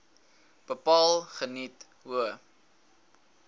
bepaal geniet hoë